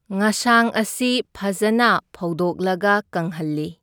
ꯉꯁꯥꯡ ꯑꯁꯤ ꯐꯖꯅ ꯐꯧꯗꯣꯛꯂꯒ ꯀꯪꯍꯜꯂꯤ꯫